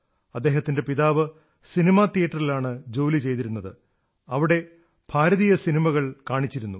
അദ്ദേഹത്തിന്റെ പിതാവ് സിനിമാ തിയേറ്ററിലാണ് ജോലി ചെയ്തിരുന്നത് അവിടെ ഭാരതീയ സിനിമകൾ കാണിച്ചിരുന്നു